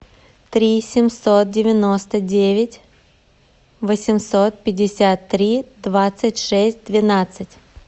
три семьсот девяносто девять восемьсот пятьдесят три двадцать шесть двенадцать